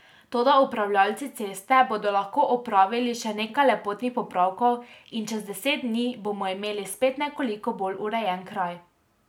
Toda upravljavci ceste bodo lahko opravili še nekaj lepotnih popravkov in čez deset dni bomo imeli spet nekoliko bolj urejen kraj.